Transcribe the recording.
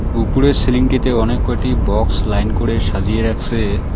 উপরে সিলিং -টিতে অনেক কয়টি বক্স লাইন করে সাজিয়ে রাখসে।